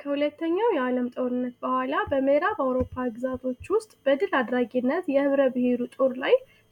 ከሁለተኛው የዓለም ጦርነት በኋላ በምዕራብ አውሮፓ ግዛቶች ውስጥ ድል አድራጊነት